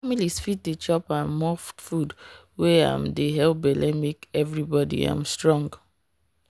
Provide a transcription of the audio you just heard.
families fit dey chop um more food wey um dey help belle make everybody um strong.